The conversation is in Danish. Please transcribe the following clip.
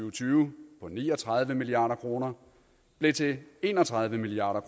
og tyve på ni og tredive milliard kroner blev til en og tredive milliard